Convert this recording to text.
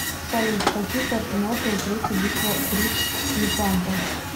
салют какие координаты у третья битва при лепанто